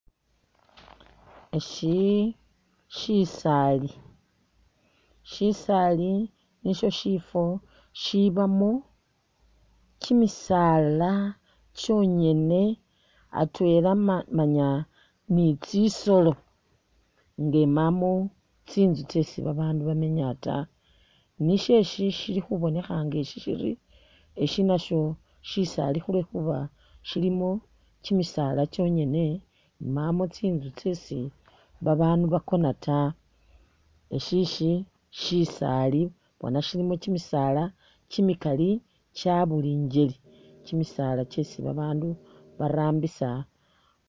Ishi shisaali, shisaali nisho shifo shibamo kyimisaala kyonyene atwela manya ni tsisolo nga imamo tsinzu tsesi ba bandu bamenya ta, nisho ishi shili khubonekha nga eshi shiri eshi nasho shisaali khulwe khuba shilimo kyimisaala kyonyene imamo tsinzu tsesi ba bandu bakona ta, eshi ishi shisaali bona shilimo kyimisaala kya buli ngeli kyimisaala kyesi ba bandu ba rambisa.